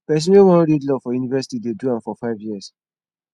pesin wey wan read law for university dey do am for five years